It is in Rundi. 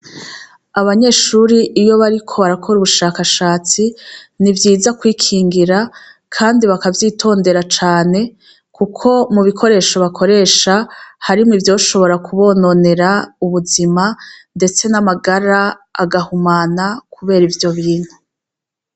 Abanyeshuri iyo bariko barakora ubushakashatsi ni vyiza kwikingira, kandi bakavyitondera cane, kuko mu bikoresho bakoresha harimwo ivyoshobora kubononera ubuzima, ndetse n'amagara agahumana kubera ivyo bintu.